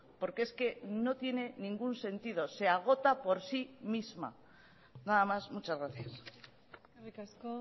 porque es que no tiene ningún sentido se agota por sí misma nada más muchas gracias eskerrik asko